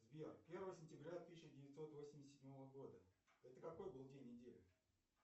сбер первое сентября тысяча девятьсот восемьдесят седьмого года это какой был день недели